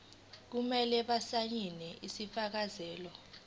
kumele basayine isifakazelo